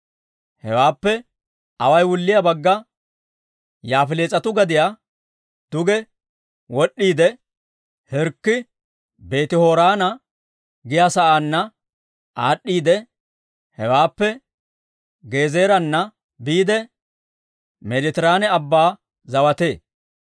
Hewaappe away wulliyaa bagga Yaafilees'atu gadiyaa duge wod'd'iide, Hirkki Beeti-Horoona giyaa saanna aad'd'iidde, hewaappe Gezeeraana biide, Meeditiraane Abban zawatee.